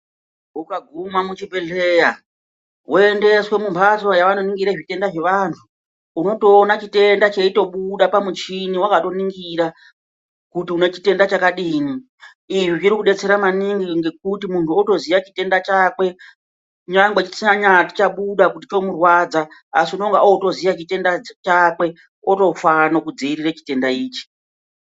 Ukaguma muchibhedhlera vanoningira zvitenda zvevanhu unotopona chitenda cheitobuda pamuchini wakaningira kuti une chitenda chakadini. Izvi zviri kudetsera maningi ngekuti munhu otoziya chitenda chakwe nyangwe chisanyati chobuda kuti chomurwadza asi unenge otoziya chitenda chakwe otofane kudzivirira chitenda ichi.